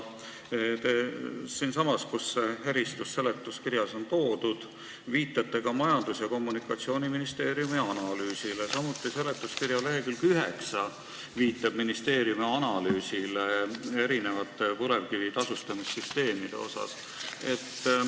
Selles seletuskirja kohas, kus see eristus on toodud, on viidatud ka Majandus- ja Kommunikatsiooniministeeriumi analüüsile, samuti viitab seletuskirja lehekülg 9 sellele, et ministeerium on analüüsinud erinevaid põlevkiviga seotud tasude süsteeme.